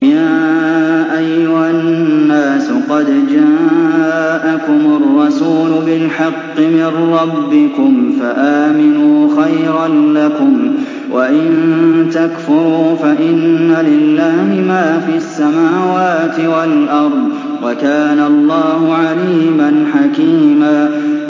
يَا أَيُّهَا النَّاسُ قَدْ جَاءَكُمُ الرَّسُولُ بِالْحَقِّ مِن رَّبِّكُمْ فَآمِنُوا خَيْرًا لَّكُمْ ۚ وَإِن تَكْفُرُوا فَإِنَّ لِلَّهِ مَا فِي السَّمَاوَاتِ وَالْأَرْضِ ۚ وَكَانَ اللَّهُ عَلِيمًا حَكِيمًا